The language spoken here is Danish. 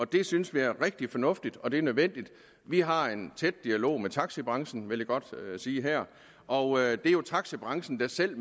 det synes vi er rigtig fornuftigt og det er nødvendigt vi har en tæt dialog med taxabranchen vil jeg godt sige her og det er jo taxabranchen selv